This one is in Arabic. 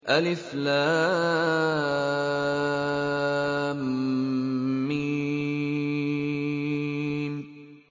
الم